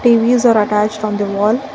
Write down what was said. T_V s are attached from the wall.